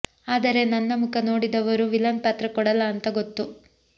ಆದರೆ ನನ್ನ ಮುಖ ನೋಡಿದವರು ವಿಲನ್ ಪಾತ್ರ ಕೊಡಲ್ಲ ಅಂತ ಗೊತ್ತು